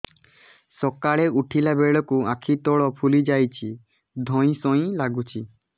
ସକାଳେ ଉଠିଲା ବେଳକୁ ଆଖି ତଳ ଫୁଲି ଯାଉଛି ଧଇଁ ସଇଁ ଲାଗୁଚି